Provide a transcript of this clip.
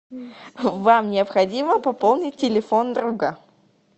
вам необходимо пополнить телефон друга